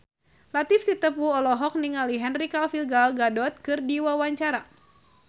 Latief Sitepu olohok ningali Henry Cavill Gal Gadot keur diwawancara